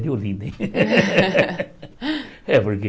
De Olinda, hein? É porque